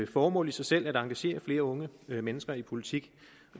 formål i sig selv at engagere flere unge mennesker i politik